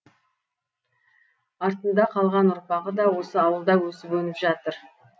артында қалған ұрпағы да осы ауылда өсіп өніп жатыр